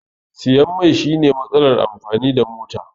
Siyan mai shine matsalar amfani da mota